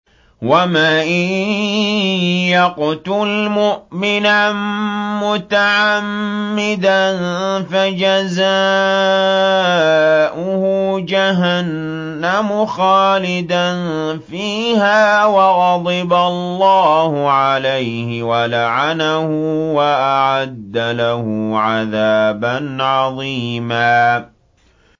وَمَن يَقْتُلْ مُؤْمِنًا مُّتَعَمِّدًا فَجَزَاؤُهُ جَهَنَّمُ خَالِدًا فِيهَا وَغَضِبَ اللَّهُ عَلَيْهِ وَلَعَنَهُ وَأَعَدَّ لَهُ عَذَابًا عَظِيمًا